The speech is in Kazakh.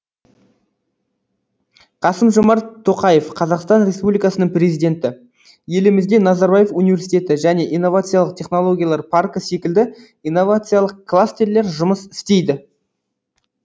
қасым жомарт тоқаев қазақстан республикасының президенті елімізде назарбаев университеті және инновациялық технологиялар паркі секілді инновациялық кластерлер жұмыс істейді